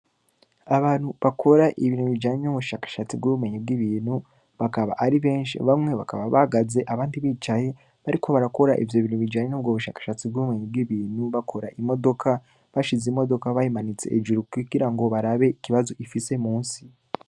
Abantu bakora ibintu bijanye n’ubushakashatsi bw’ubumenyi bw’ibintu, bakaba ari benshi, bamwe bakaba bahagaze abandi bicaye, bariko barakora ivyo bintu bijanye n’ubwo bushakashatsi bw’ubumenyi bw’ibintu, bakora imodoka, bashize imodoka, bayimanitse hejuru, kugira ngo barabe ikibazo ifise munsi.